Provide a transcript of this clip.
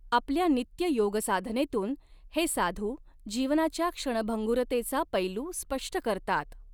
आपल्या नित्य योगसाधनेतून हे साधू जीवनाच्या क्षणभंगुरतेचा पैलू स्पष्ट करतात.